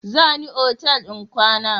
Za ni otal in kwana.